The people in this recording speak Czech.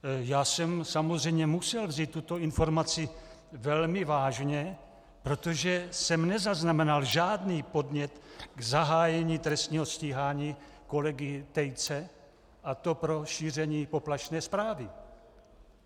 Já jsem samozřejmě musel vzít tuto informaci velmi vážně, protože jsem nezaznamenal žádný podnět k zahájení trestního stíhání kolegy Tejce, a to pro šíření poplašné zprávy.